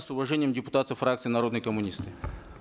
с уважением депутаты фракции народные коммунисты